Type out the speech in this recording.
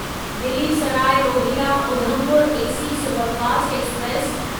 Delhi Sarai Rohilla Udhampur AC superfast express